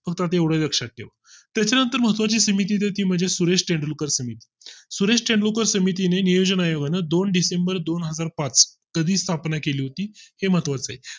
आता पुरत तेवढे लक्षात घेऊन त्याच्या नंतर महत्त्वाची समिती मध्ये सुरेश तेंडुलकर समिती सुरेश तेंडुलकर समिती ने नियोजन आयोगाने दोन डिसेंबर दोन हजार पाच मध्ये स्थापना केली होती हे महत्वाचे